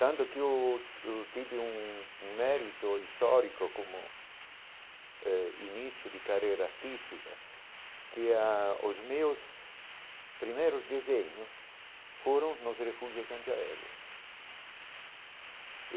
Tanto que eu eu tive um um mérito histórico como eh início de carreira artística, que ah os meus primeiros desenhos foram nos refúgios antiaéreos.